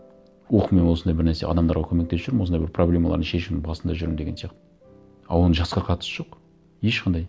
ох мен осындай бір нәрсе адамдарға көмектесіп жүрмін осындай бір проблемаларын шешудің басында жүрмін деген сияқты а оның жасқа қатысы жоқ ешқандай